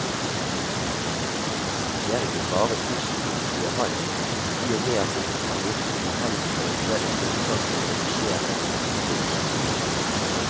Det er ikke bare positivt, sier han, i og med at det kan virke uheldig for eventuelle tiltak for å redusere strømforbruket.